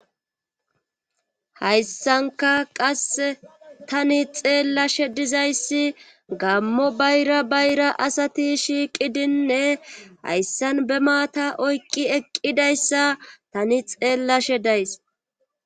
Hayssanka qasse tani xeellashe dizayssi gammo bayra bayra asati shiiqidinne hayssan be maata oyqqi eqqidayssa tani xeellashe days